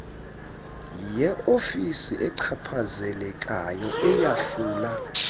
yeofisi echaphazelekayo eyahlula